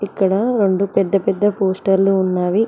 ఇక్కడ రొండు పెద్ద పెద్ద పోస్టర్లు ఉన్నావి.